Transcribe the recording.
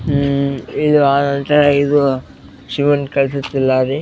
ಹಮ್ಮ್ ಇದು ಒಂತರ ಇದು ಶಿವನ್ --